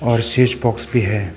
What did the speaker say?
और switch box भी है।